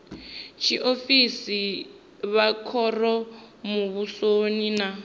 tshiofisi vha khoro muvhusoni na